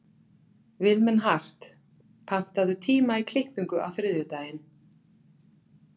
Vilmenhart, pantaðu tíma í klippingu á þriðjudaginn.